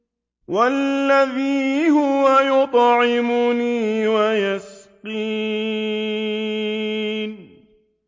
وَالَّذِي هُوَ يُطْعِمُنِي وَيَسْقِينِ